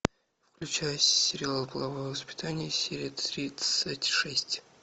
включай сериал половое воспитание серия тридцать шесть